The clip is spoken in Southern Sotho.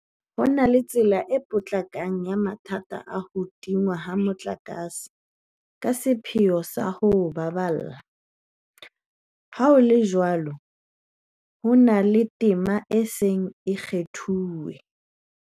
Ha re na tsela e potlakang ya mathata a ho tingwa ha motlakase ka sepheo sa ho o baballa, leha ho le jwalo, ho na le tema e seng e kgathilwe